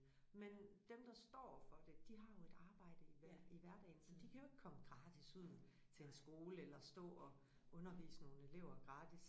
Men dem der står for det de har jo et arbejde i hver i hverdagen så de kan jo ikke komme gratis ud til en skole eller stå og undervise nogle elever gratis